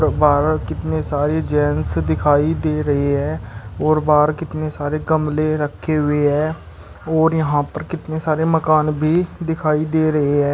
बाहर कितने सारे जेंट्स दिखाई दे रही है और बाहर कितने सारे गमले रखे हुए है और यहां पर कितने सारे मकान भी दिखाई दे रहे है।